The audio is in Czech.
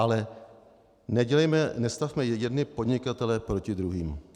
Ale nestavme jedny podnikatele proti druhým.